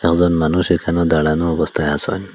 একজন মানুষ এখানে দাঁড়ানো অবস্থায় আসেন।